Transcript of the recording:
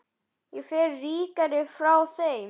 Ég fer ríkari frá þeim.